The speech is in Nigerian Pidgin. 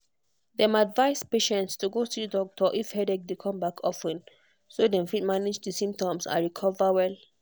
dem advise patients to go see doctor if headache dey come back of ten so dem fit manage di symptoms and recover well.